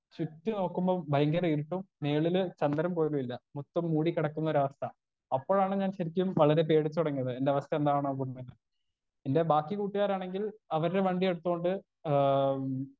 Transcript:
Speaker 1 ചുറ്റും നോക്കുമ്പൊ ഭയങ്കര ഇരുട്ടും മേളില് ചന്ദ്രൻ പോലുല്ല മൊത്തം മൂടി കെടക്കുന്നൊരവസ്ഥ അപ്പഴാണ് ഞാൻ ശെരിക്കും വളരെ പേടിച്ചൊടങ്ങിയത് എന്റെ അവസ്ഥ എന്താണ് എന്റെ ബാക്കി കൂട്ടാരാണെങ്കിൽ അവർടെ വണ്ടി എടുത്തോണ്ട് ആ.